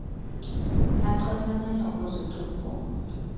achaseneyo ukuzithi gu